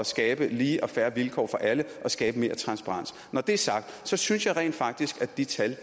skabe lige og fair vilkår for alle og skabe mere transparens når det er sagt synes jeg rent faktisk at de tal